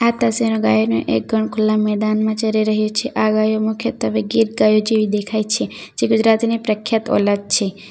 આ ગાયને એક ગણ ખુલ્લા મેદાનમાં ચરી રહી છે આ ગાયો મુખ્ય તવે ગીત ગાયો જેવી દેખાય છે જે ગુજરાતીની પ્રખ્યાત ઓલાદ છે.